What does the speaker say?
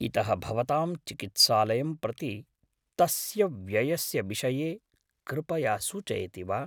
इतः भवतां चिकित्सालयं प्रति तस्य व्ययस्य विषये कृपया सूचयति वा?